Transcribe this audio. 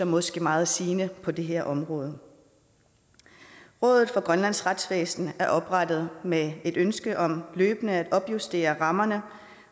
måske meget sigende på det her område rådet for grønlands retsvæsen er oprettet med et ønske om løbende at opjustere rammerne